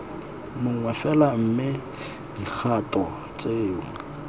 mongwe fela mme dikgato tseo